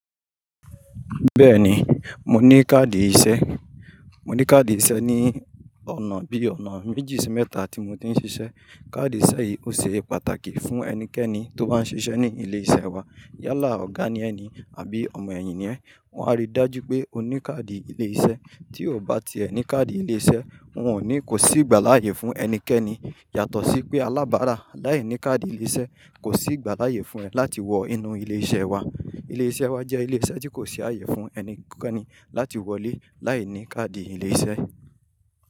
Bẹ́ẹ̀ni, mo ní káàdì ìse, mo ní káàdì ìṣe ní ọ̀nà bí ọ̀nà méjì sí mẹ́ta tí mo ti ń ṣiṣẹ́. Káàdì ìṣẹ́ yìí ó ṣe pàtàkì fún ẹnikẹ́ni tó bá ń ṣiṣẹ́ ní ilé-iṣẹ́ wa. Yálà, ọ̀gá ni ẹ ni àbí ọmọ èyin ni ẹ, wọn á rí i dájú pé o ní káàdì ilé-iṣẹ́. Tí o bá ti ẹ ní káàdì ilé-iṣẹ́, wọn ò ní, kò sí ìgbà láàyè fún ẹnikẹ́ni. Yàtọ̀ sí pé alábárá láì ní káàdì ilé-iṣẹ́, kò sí ìgbà láàyè fún ẹ láti wọ inú ilé-iṣẹ́ wa. Ilé-iṣẹ́ wa jẹ́ ilé-iṣẹ́ tí kò sí ààyè fún ẹnikẹ́ni láti wọlé láìní káàdì ilé-iṣẹ́.